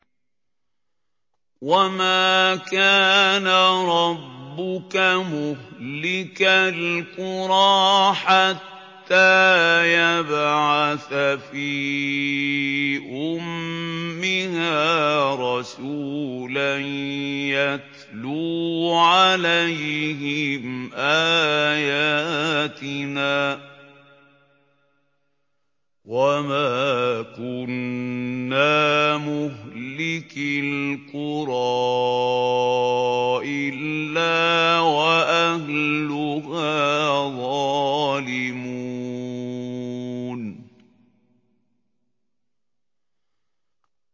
وَمَا كَانَ رَبُّكَ مُهْلِكَ الْقُرَىٰ حَتَّىٰ يَبْعَثَ فِي أُمِّهَا رَسُولًا يَتْلُو عَلَيْهِمْ آيَاتِنَا ۚ وَمَا كُنَّا مُهْلِكِي الْقُرَىٰ إِلَّا وَأَهْلُهَا ظَالِمُونَ